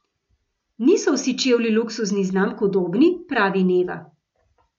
Niso vsi čevlji luksuznih znamk udobni, pravi Neva.